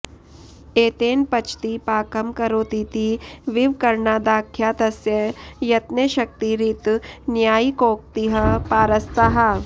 एतेन पचति पाकं करोतीति विवकरणादाख्यातस्य यत्ने शक्तिरित नैयायिकोक्तिः पारस्ता